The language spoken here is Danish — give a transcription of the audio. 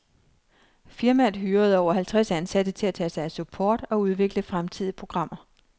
Firmaet hyrede over halvtreds ansatte til at tage sig af support og udvikle fremtidige programmer.